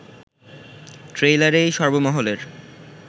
ট্রেইলারেই সর্বমহলের